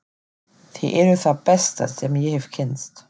Þið eruð það besta sem ég hef kynnst.